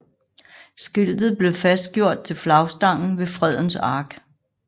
Skiltet blev fastgjort til flagstangen ved Fredens Ark